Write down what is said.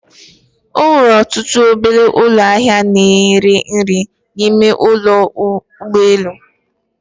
Enwere ọtụtụ obele ụlọ ahịa na ere nri n'ime ụlọ ụgbọ elu